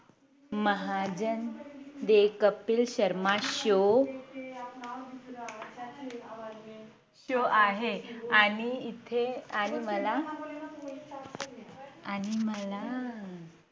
Mahajan The Kapil Sharma Show तो आहे आणि इथे आणि मला आणि मला